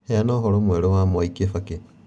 Heana ũhoro mwerũ wa mwai kibaki